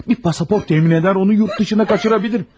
Bir pasaport təmin edər, onu yurtdışına qaçıra bilirim.